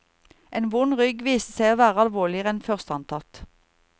En vond rygg viste seg å være alvorligere enn først antatt.